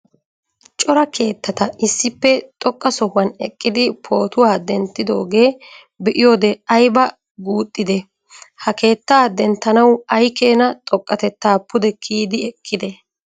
Cora keettata issippe xoqqa sohuwan eqqidi pootuwaa denttidooga be'iyoode aybba guuxide? Ha keettaa denttanaw ay keena xoqqatetta pude kiyyidi ekkide?